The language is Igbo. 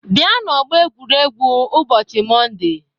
Bịa n'ọgbọ egwuregwu ụbọchị Mọnde!